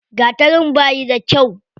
Gatarin bayi da kyau.